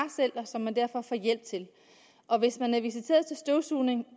og som man derfor får hjælp til og hvis man er visiteret til støvsugning